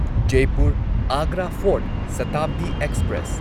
Jaipur Agra fort Shatabdi express